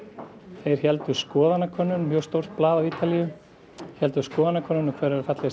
þeir héldu skoðanakönnun mjög stórt blað á Ítalíu héldu skoðanakönnun um hver væri fallegasti